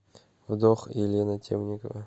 вдох елена темникова